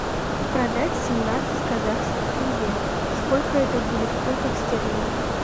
продать семнадцать казахских тенге сколько это будет в фунтах стерлингах